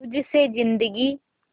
तुझ से जिंदगी